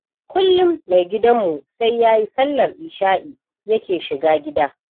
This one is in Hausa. Kullum mai gidanmu sai yayi sallar isha'i yake shiga gida.